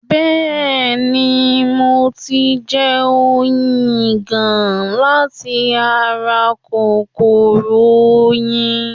Bẹ́ẹ̀ni, mo ti ń jẹ oyin ìgàn láti ara kòkòrò oyin